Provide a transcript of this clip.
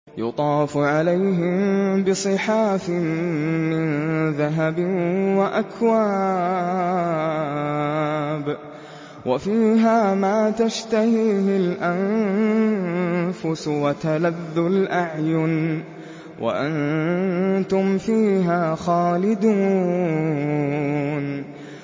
يُطَافُ عَلَيْهِم بِصِحَافٍ مِّن ذَهَبٍ وَأَكْوَابٍ ۖ وَفِيهَا مَا تَشْتَهِيهِ الْأَنفُسُ وَتَلَذُّ الْأَعْيُنُ ۖ وَأَنتُمْ فِيهَا خَالِدُونَ